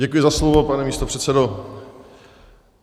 Děkuji za slovo, pane místopředsedo.